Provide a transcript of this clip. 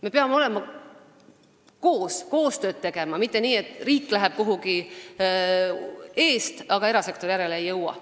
Me peame olema koos ja tegema koostööd, mitte nii, et riik läheb eest, aga erasektor järele ei jõua.